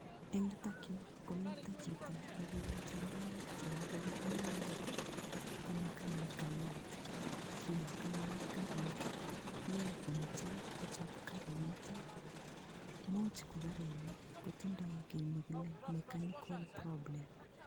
Eng' yutokyu komito chito nekiilach ngoroik toku kole inendet ko mekanikayat kiyat ine karit mi komochei kochop karinito muuch ko karitnito kotindoi ki nekile mechanical problem